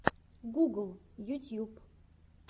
гугл ютьюб